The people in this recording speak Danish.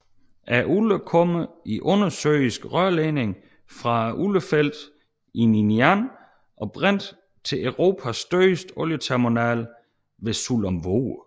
Olien kommer i undersøiske rørledninger fra oliefelterne Ninian og Brent til Europas største olieterminal ved Sullom Voe